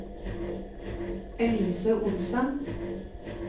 Elise Olsen